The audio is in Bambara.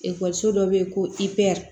Ekɔliso dɔ bɛ yen ko i pɛr